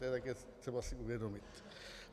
To je také třeba si uvědomit.